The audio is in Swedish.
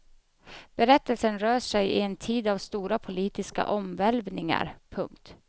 Berättelsen rör sig i en tid av stora politiska omvälvningar. punkt